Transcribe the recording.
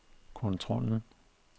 kontrollen